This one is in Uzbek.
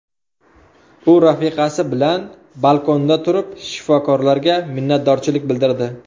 U rafiqasi bilan balkonda turib, shifokorlarga minnatdorchilik bildirdi.